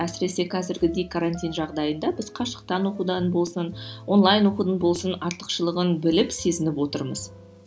әсіресе қазіргідей карантин жағдайында біз қашықтан оқудан болсын онлайн оқудан болсын артықшылығын біліп сезініп отырмыз